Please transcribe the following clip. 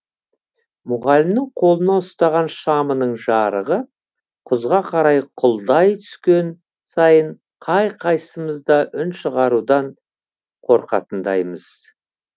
мұғалімнің қолына ұстаған шамының жарығы құзға қарай құлдай түскен сайын қай қайсымыз да үн шығарудан қорқатындаймыз